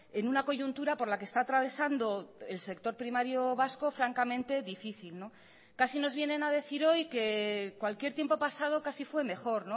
en una coyuntura por la que está atravesando el sector primario vasco francamente difícil casi nos vienen a decir hoy que cualquier tiempo pasado casi fue mejor